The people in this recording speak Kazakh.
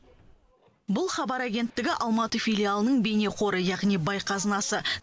бұл хабар агенттігі алматы филиалының бейнеқоры яғни бай қазынасы